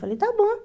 Falei, está bom.